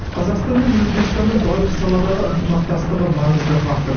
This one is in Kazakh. қазақстан мен өзбекстанның барлық саладағы ынтымақтастығы маңызды фактор